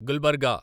Gulbarga